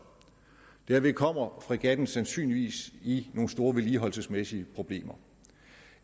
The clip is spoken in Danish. derved kommer fregatten sandsynligvis i nogle store vedligeholdelsesmæssige problemer